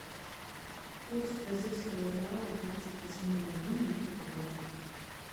курс бразильского реала двадцать восьмого июня этого года